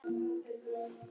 Fyrst til Kína.